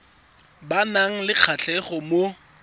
ba nang le kgatlhego mo